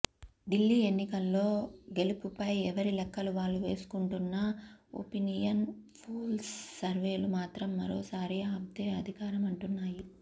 ఢిల్లీ ఎన్నికల్లో గెలుపుపై ఎవరి లెక్కలు వాళ్లు వేసుకుంటున్నా ఒపీనియన్ పోల్స్ సర్వేలు మాత్రం మరోసారి ఆప్దే అధికారమంటున్నాయి